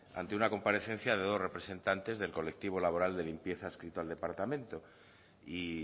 ante una comparecencia de dos representantes del colectivo laboral de limpieza adscrito al departamento y